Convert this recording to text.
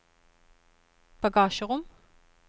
bagasjerom